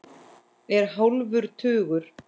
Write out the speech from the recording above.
Er hálfur tugur.